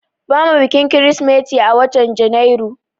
bamu bikin krismeti a watan janairu